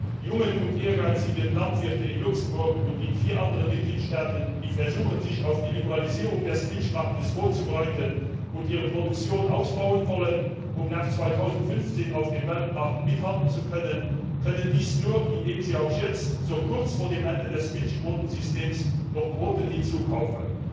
Die jungen und ehrgeizigen Landwirte in Luxemburg und in vier anderen Mitgliedstaaten, die versuchen, sich auf die Liberalisierung des Milchmarkts vorzubereiten und ihre Produktion ausbauen wollen, um nach 2015 auf dem Weltmarkt mithalten zu können, können dies nur, indem sie auch jetzt, so kurz vor dem Ende des Milchquotensystems noch Quoten hinzukaufen.